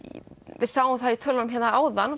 við sáum það í tölunum áðan